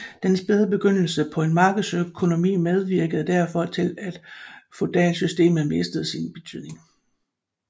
Den spæde begyndelse på en markedsøkonomi medvirkede derfor til at feudalsystemet mistede sin betydning